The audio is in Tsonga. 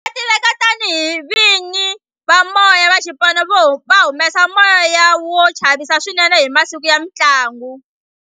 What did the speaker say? Va tiveka tani hi vini va moya va xipano va humesa moya wo chavisa swinene hi masiku ya mintlangu